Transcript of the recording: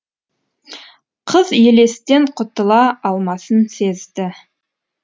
қыз елестен құтыла алмасын сезді